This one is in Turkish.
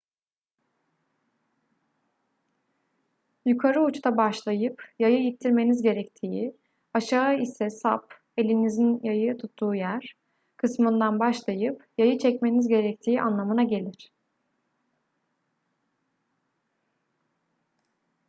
yukarı uçta başlayıp yayı ittirmeniz gerektiği aşağı ise sap elinizin yayı tuttuğu yer kısmından başlayıp yayı çekmeniz gerektiği anlamına gelir